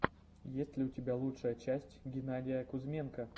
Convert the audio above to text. есть ли у тебя лучшая часть геннадия кузьменко